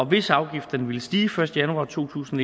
hvis afgifterne ville stige første januar to tusind